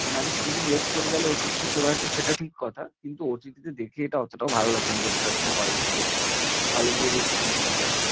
মানে আমি কিছুদিন wait করে গেলে OTT টে চলে আসবে সেটা ঠিক কথা, কিন্তু OTT তে দেখে এটা অতটাও ভালো লাগবে না যতটা আর কি hall থেকে hall এ গিয়ে যে experience টা হবে।